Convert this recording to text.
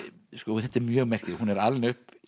þetta er mjög merkilegt hún er alin upp